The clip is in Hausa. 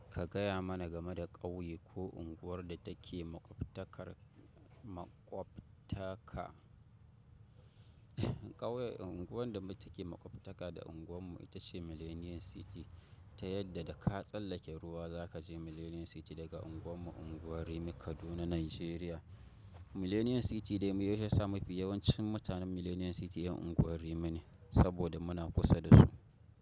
Ka gaya mana game da ƙauye ko unguwar da take maƙwabtakar ku, maƙwabta-- ka ƙauyen unguwar da mu take maƙwabtaka da unguwar mu ita ce Millennium City, ta yadda da ka tsallake ruwa za ka je Millennium City daga unguwar mu unguwar Rimi Kaduna Nigeria. Millennium City dai miye ya sa mafi yawancin mutanen Millennium City ƴan unguwar Rimi ne saboda muna kusa da su.